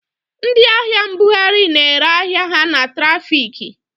Ndị ahịa mbughari na-ere ahịa ha na trafiki.